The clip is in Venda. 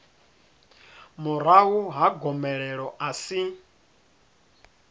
murahu ha gomelelo a si